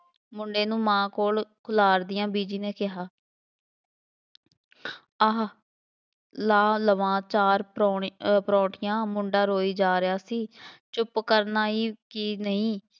ਮੁੰਡੇ ਨੂੰ ਮਾਂ ਕੋਲ ਬੀਜੀ ਨੇ ਕਿਹਾ ਆਹ ਲਾਹ ਲਵਾਂ ਚਾਰ ਪਰੋ~ ਪਰੌਠੀਆਂ, ਮੁੰਡਾ ਰੋਈ ਜਾ ਰਿਹਾ ਸੀ, ਚੁੱਪ ਕਰਨਾ ਹੀ ਕੀ ਨਹੀਂ,